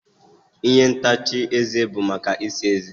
ihe ntacha eze bụ maka ịsa ezé